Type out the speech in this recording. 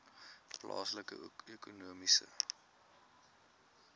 plaaslike ekonomiese